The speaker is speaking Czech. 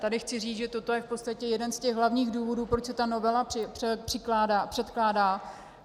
Tady chci říct, že toto je v podstatě jeden z těch hlavních důvodů, proč se ta novela předkládá.